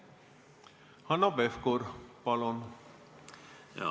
Hanno Pevkur, palun!